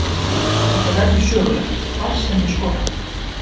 Þetta verður sögulegt hvar sem ég skora.